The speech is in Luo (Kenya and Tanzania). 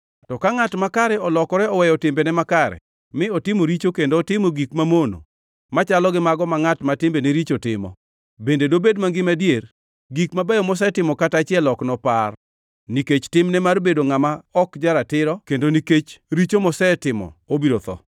“To ka ngʼat makare olokore oweyo timbene makare mi otimo richo kendo otimo gik mamono machalo gi mago ma ngʼat ma timbene richo timo, bende dobed mangima adier? Gik mabeyo mosetimo kata achiel ok nopar. Nikech timne mar bedo ngʼama ok ja-ratiro kendo nikech richo mosetimo, obiro tho.